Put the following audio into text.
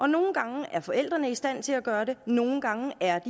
nogle gange er forældrene i stand til at gøre det nogle gange er